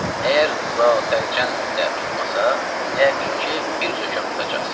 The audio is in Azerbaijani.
Əgər zatəlcəmdə də tutmasa, yəqin ki, bir zökəm tutacaqsan.